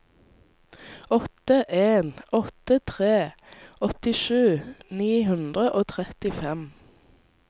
åtte en åtte tre åttisju ni hundre og trettifem